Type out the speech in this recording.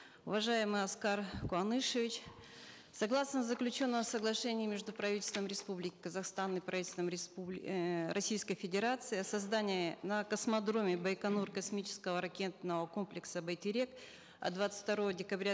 уважаемый аскар куанышевич согласно заключенного соглашения между правительством республики казахстан и правительством эээ российской федерации о создании на космодроме байконур космического ракетного комплекса байтерек от двадцать второго декабря